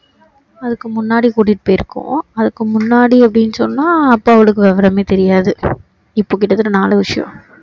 அதுக்கு முன்னாடி கூட்டிட்டு போய் இருக்கோம் அதுக்கு முன்னாடி அப்படின்னு சொன்னா அப்போ அவளுக்கு விவரமே தெரியாது இப்போ கிட்ட தட்ட நாளு வருஷம்